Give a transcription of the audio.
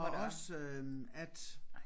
Og også at